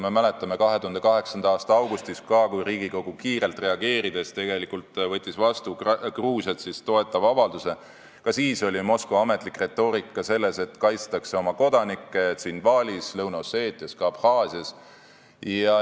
Me mäletame, et 2008. aasta augustis, kui Riigikogu kiirelt reageerides võttis vastu Gruusiat toetava avalduse, ka siis oli Moskva ametlik retoorika see, et kaitstakse oma kodanikke Tshinvalis, kogu Lõuna-Osseetias, ka Abhaasias.